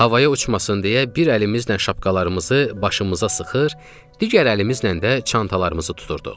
Havaya uçmasın deyə bir əlimizlə şapqalarımızı başımıza sıxır, digər əlimizlə də çantalarımızı tuturduq.